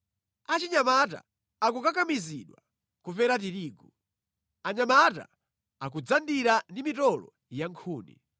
Achinyamata akukakamizidwa kupera tirigu; anyamata akudzandira ndi mitolo ya nkhuni.